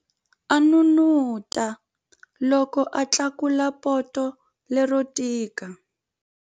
A n'unun'uta loko a tlakula poto lero tika.